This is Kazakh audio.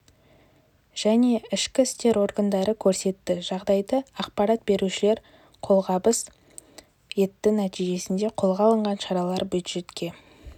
және ішкі істер органдары көрсетті жағдайда ақпарат берушілер қолғабыс етті нәтижесінде қолға алынған шаралар бюджетке